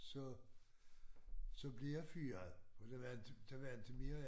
Så så blev jeg fyret for der var inte der var inte mere